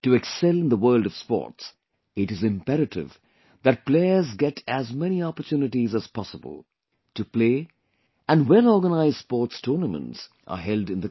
To excel in the world of sports, it is imperative that players get as many opportunities as possible to play and well organized sports tournaments are held in the country